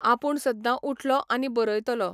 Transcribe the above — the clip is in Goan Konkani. आपूण सद्दा उठलो आनी बरयतलो.